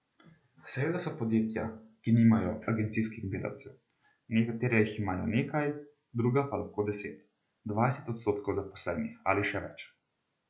Seveda so podjetja, ki nimajo agencijskih delavcev, nekatera jih imajo nekaj, druga pa lahko deset, dvajset odstotkov zaposlenih ali še več.